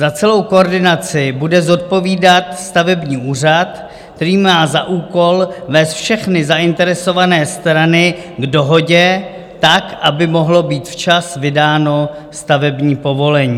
Za celou koordinaci bude odpovídat stavební úřad, který má za úkol vést všechny zainteresované strany k dohodě tak, aby mohlo být včas vydáno stavební povolení.